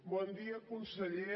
bon dia conseller